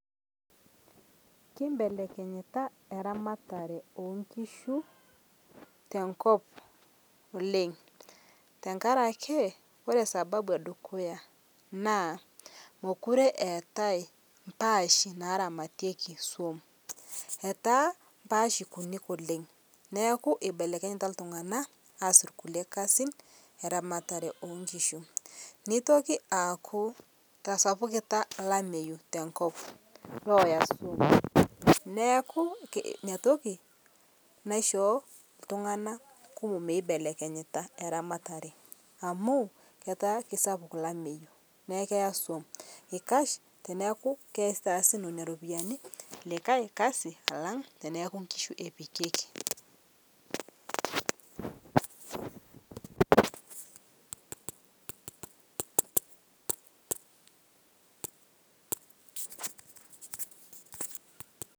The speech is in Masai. kimbelekinyita eramatare enkishuu tenkop oleng tankarakee kore sababu edukuya naa mokure eatai mpaashi naramatieki suom etaa mpaashi kuni oleng naaku eibelekenyita ltunganak aas lkulie kazin eramatare onkishuu neitoki aaku etasapukitaa lameyuu tenkop naaku inia tokii naishoo ltungana kumo eibelekenyita ramataree amu ketaaki sappuk lameyuu naa keya suom eikash teneakuu keitaasi nenia ropiyani likai kazii alang tanaaku nkishu epikiekii